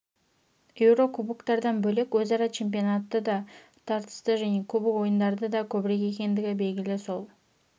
еуро кубоктардан бөлек өзара чемпионаты да тартысты және кубок ойындары да көбірек екендігі белгілі сол